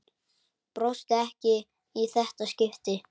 Brosti ekki í þetta skipti.